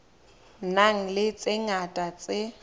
nang le tse ngata tse